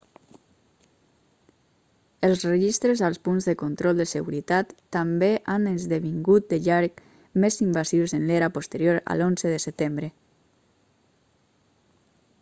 els registres als punts de control de seguretat també han esdevingut de llarg més invasius en l'era posterior a l'11 de setembre